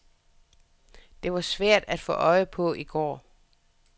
Det var svært at få øje på i går.